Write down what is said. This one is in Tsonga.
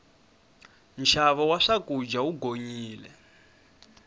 nxavo wa swakudya wu gonyile